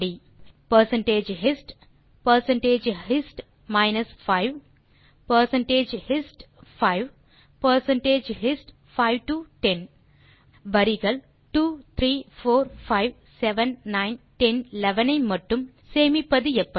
நான்கு தேர்வுகள் பெர்சென்டேஜ் ஹிஸ்ட் பெர்சென்டேஜ் ஹிஸ்ட் மைனஸ் 5 பெர்சென்டேஜ் ஹிஸ்ட் 5 பெர்சென்டேஜ் ஹிஸ்ட் 5 டோ 10 வரிகள் 2 3 4 5 7 9 10 11 ஐ மட்டும் சேமிப்பது எப்படி